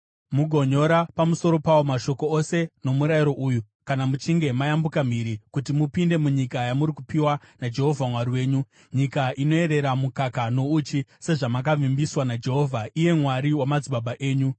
Mugonyora pamusoro pawo mashoko ose nomurayiro uyu kana muchinge mayambuka mhiri kuti mupinde munyika yamuri kupiwa naJehovha Mwari wenyu, nyika inoyerera mukaka nouchi, sezvamakavimbiswa naJehovha, iye Mwari wamadzibaba enyu.